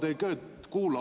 Aeg, hea kolleeg!